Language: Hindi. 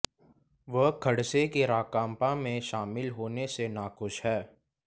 वह खडसे के राकांपा में शामिल होने से नाखुश हैं